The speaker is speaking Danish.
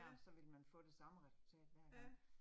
Ja. Ja